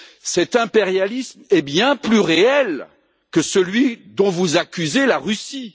Cet impérialisme est bien plus réel que celui dont vous accusez la Russie.